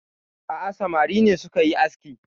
A'a samari ne suka yi aski